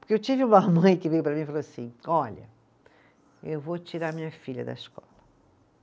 Porque eu tive uma mãe que veio para mim e falou assim, olha, eu vou tirar minha filha da escola.